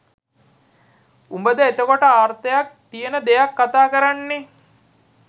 උබද එතකොට අර්ථයක් තියෙන දෙයක් කතා කරන්නේ?